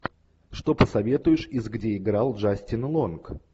что посоветуешь из где играл джастин лонг